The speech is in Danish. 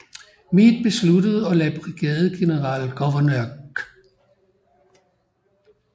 Meade besluttede at lade brigadegeneral Gouverneur K